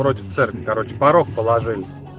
короче порог положили